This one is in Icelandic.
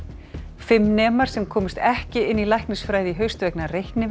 fimm nemar sem komust ekki inn í læknisfræði í haust vegna